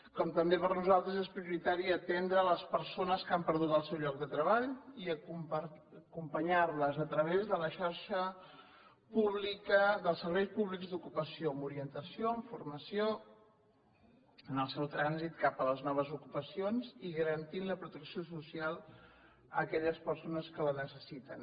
com també per nosaltres és prioritari atendre les persones que han perdut el seu lloc de treball i acompanyar les a través de la xarxa pública dels serveis públics d’ocupació amb orientació amb formació en el seu trànsit cap a les noves ocupacions i garantint la protecció social a aquelles persones que la necessiten